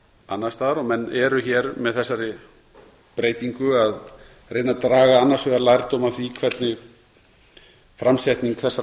annars staðar og menn eru hér með þessari breytingu að reyna að draga annars vegar lærdóm af því hvernig framsetning þessara